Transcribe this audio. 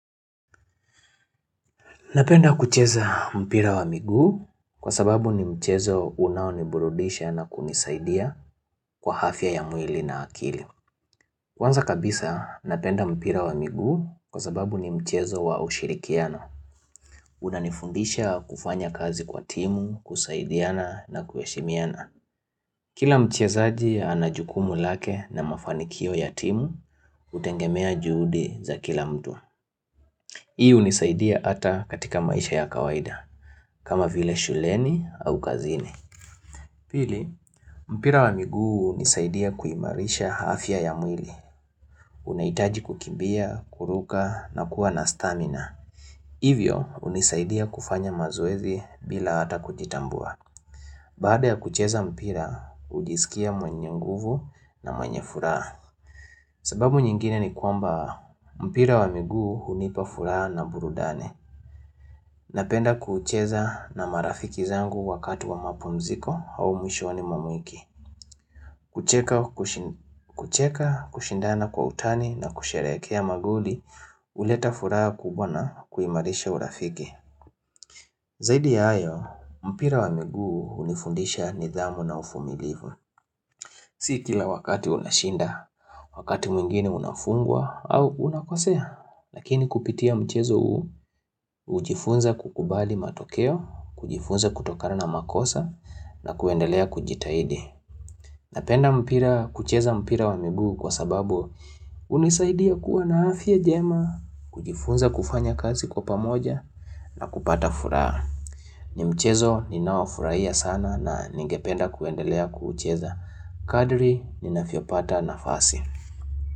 Napenda kucheza mpira wa miguu kwa sababu ni mchezo unaoniburudisha na kunisaidia kwa afya ya mwili na akili. Kwanza kabisa napenda mpira wa miguu kwa sababu ni mchezo wa ushirikiano. Unanifundisha kufanya kazi kwa timu, kusaidiana na kuheshimiana. Kila mchezaji ana jukumu lake na mafanikio ya timu hutegemea juhudi za kila mtu. Hii hunisaidia hata katika maisha ya kawaida, kama vile shuleni au kazini. Pili, mpira wa miguu hunisaidia kuimarisha afya ya mwili. Unahitaji kukimbia, kuruka na kuwa na stamina. Hivyo, hunisaidia kufanya mazoezi bila hata kujitambua. Baada ya kucheza mpira, hujisikia mwenye nguvu na mwenye furaha. Sababu nyingine ni kwamba mpira wa miguu hunipa furaha na burudani. Napenda kuucheza na marafiki zangu wakati wa mapumziko au mwishoni mwa wiki kucheka, kushindana kwa utani na kusherekea magoli huleta furaha kubwa na kuimarisha urafiki Zaidi ya hayo, mpira wa miguu hunifundisha nidhamu na uvumilivu Si kila wakati unashinda, wakati mwingine unafungwa au unakosea Lakini kupitia mchezo huu hujifunza kukubali matokeo, kujifunza kutokana na makosa na kuendelea kujitahidi. Napenda mpira kucheza mpira wa miguu kwa sababu hunisaidia kuwa na afya njema, kujifunza kufanya kazi kwa pamoja na kupata furaha. Ni mchezo ninaofurahia sana na ningependa kuendelea kuucheza kadri ni navyopata nafasi.